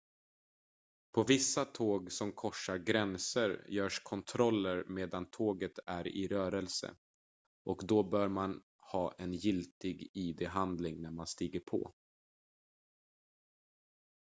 på vissa tåg som korsar gränser görs kontroller medan tåget är i rörelse och då bör man ha en giltig id-handling när man stiger på